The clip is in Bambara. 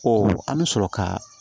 an bɛ sɔrɔ ka